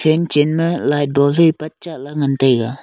ing chen ma light bulb wai patcha la ngan taiga.